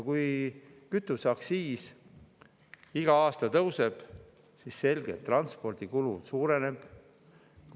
Kui kütuseaktsiis igal aastal tõuseb, siis on selge, et transpordikulu suureneb.